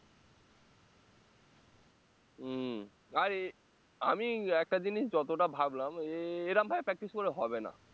উম আমি একটা জিনিস যতটা ভাবলাম এরম ভাবে practice করলে হবে না